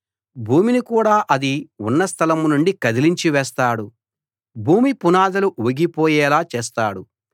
భూమిని కూడా అది ఉన్న స్థలం నుండి కదిలించివేస్తాడు భూమి పునాదులు ఊగిపోయేలా చేస్తాడు